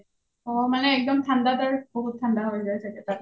অ মানে একদম ঠাণ্ডাত’ৰ বহুত ঠাণ্ডা হয় যাই চাগে তাত